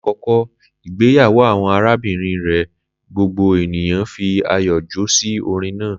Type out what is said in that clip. Lakoko igbeyawo awọn arabinrin rẹ, gbogbo eniyan fi ayọ jó si orin naa.